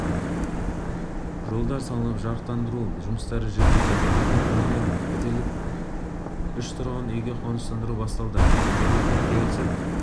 жолдар салынып жарыққтандыру жұмыстары жүргізілді бүгін міне пәтерлік үш тұрғын үйге қоныстану басталды үкіметпен келісіп